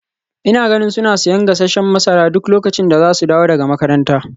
Ina ganin suna siyan gasasshen masara duk lokacin da za su dawo daga makaranta.